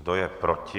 Kdo je proti?